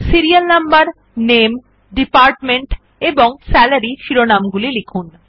serial number নামে department এবং salary শিরোনামগুলি লিখুন